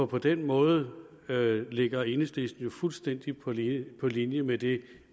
på den måde ligger enhedslisten jo fuldstændig på linje på linje med det